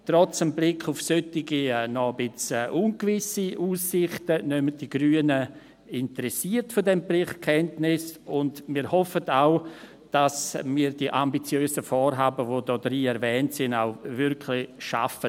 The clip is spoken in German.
Trotz des Blicks auf solche noch etwas ungewisse Aussichten nehmen die Grünen interessiert von diesem Bericht Kenntnis, und wir hoffen, dass wir die ambitiösen Vorhaben, die darin erwähnt sind, auch wirklich schaffen.